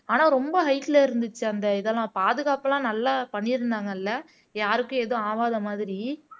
ஆனா ரொம்ப height ல இருந்துச்சு அந்த இதெல்லாம் பாதுகாப்பு எல்லாம் நல்லா பண்ணியிருந்தாங்கல்ல யாருக்கும் எதுவும் ஆகாத மாதிரி